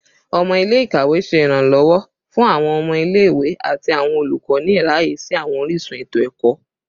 Ọmọ ile-ikawe ṣe iranlọwọ fun awọn ọmọ ile-iwe ati awọn olukọ ni iraye si awọn orisun eto-ẹkọ